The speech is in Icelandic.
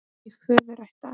Í föðurætt af